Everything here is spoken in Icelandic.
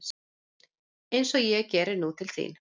Eins og ég geri nú til þín.